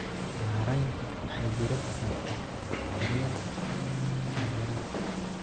Maareynta waxay diiradda saartaa daryeelka taageerada.